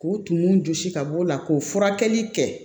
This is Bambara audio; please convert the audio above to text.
K'u tumu jɔsi ka bɔ o la k'o furakɛli kɛ